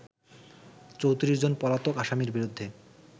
৩৪ জন পলাতক আসামির বিরুদ্ধে